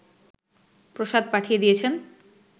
প্রসাদ পাঠিয়ে দিয়েছেন